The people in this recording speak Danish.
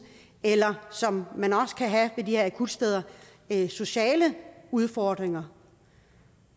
eller som man også kan have ved her akutsteder sociale udfordringer